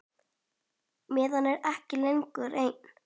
Maður er ekki lengur einn.